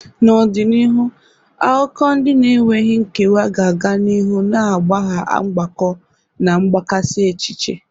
N'ọdịnihu, akụkọ ndị na-enweghị nkewa ga-aga n'ihu na-agbagha mgbakọ na mgbakasị echiche.